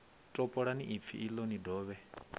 topolani ipfi iḽo ni dovhe